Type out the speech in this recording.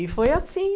E foi assim.